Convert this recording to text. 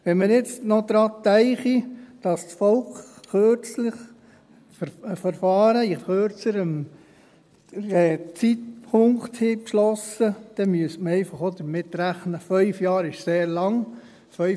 Wenn wir jetzt noch daran denken, dass das Volk kürzlich Verfahren mit kürzerem Zeitpunkt beschlossen hat, dann müsste man einfach auch damit rechnen, dass 5 Jahre sehr lang sind.